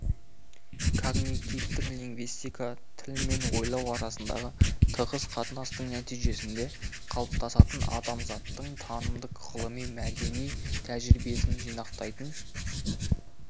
когнитивтік лингвистика тіл мен ойлау арасындағы тығыз қатынастың нәтижесінде қалыптасатын адамзаттың танымдық ғылыми мәдени тәжірибесінен жинақтайтын